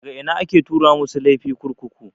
Daga ina ake tura masu laifi kurkuku?